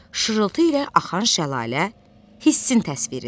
Şırıltı ilə axan şəlalə hissin təsviridir.